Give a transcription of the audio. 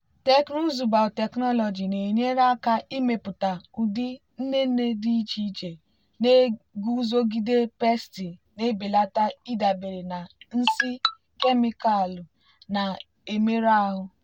teknụzụ biotechnology na-enyere aka ịmepụta ụdị inine dị iche iche na-eguzogide pesti na-ebelata ịdabere na nsị kemịkalụ na-emerụ ahụ.